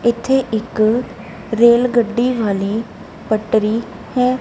ਇੱਥੇ ਇੱਕ ਰੇਲ ਗੱਡੀ ਵਾਲੀ ਪਟਰੀ ਹੈ।